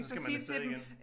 Så skal man af sted igen